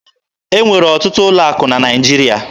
E nwere ọtụtụ ụlọ akụ na Naịjirịa.